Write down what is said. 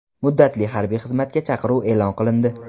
Muddatli harbiy xizmatga chaqiruv e’lon qilindi.